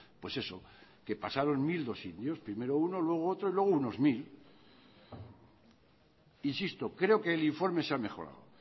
pues eso que pasaron dos mil sitios primero uno luego otro y luego unos mil insisto creo que el informe se ha mejorado